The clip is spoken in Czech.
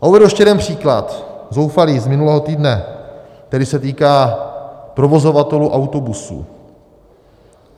A uvedu ještě jeden příklad - zoufalý - z minulého týdne, který se týká provozovatelů autobusů.